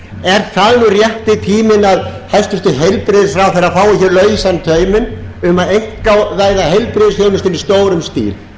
er það nú rétti tíminn að hæstvirtur heilbrigðisráðherra fái hér lausan tauminn um að einkavæða heilbrigðisþjónustuna í stórum stíl